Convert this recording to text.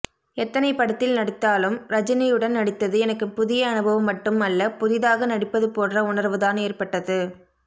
எத்தனை படத்தில் நடித்தாலும் ரஜினியுடன் நடித்தது எனக்கு புதிய அனுபவம் மட்டும் அல்ல புதிதாக நடிப்பது போன்ற உணர்வுதான் ஏற்பட்டது